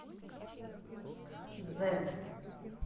зедд